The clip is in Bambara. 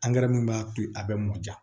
min b'a to a bɛ mɔ diya